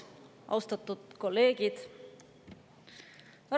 Austatud kolleegid!